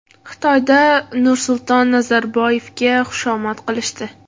Xitoyda Nursulton Nazarboyevga xushomad qilishdi.